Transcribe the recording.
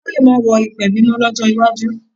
Àwọn ọba lè má wọ ìpèbí mọ́ lọ́jọ́ iwájú